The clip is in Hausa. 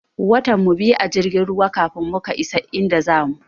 Watan mu biyu a jirgin ruwan kafin muka isa inda zamu.